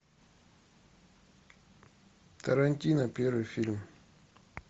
тарантино первый фильм